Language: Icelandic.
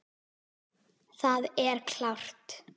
Það er klárt.